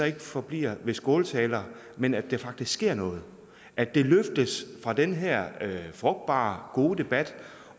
ikke forbliver ved skåltaler men at der faktisk sker noget at det løftes fra den her frugtbare og gode debat